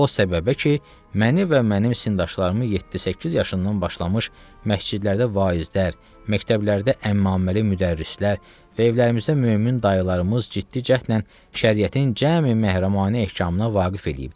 O səbəbə ki, məni və mənim sindaşlarımı 7-8 yaşından başlamış məscidlərdə vaizlər, məktəblərdə əmmaməli müdərrislər və evlərimizdə mömin dayılarımız ciddi cəhdlə şəriyətin cəmi məhrəmanə ehkamına vaqif eləyib.